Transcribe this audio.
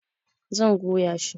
Zan goya shi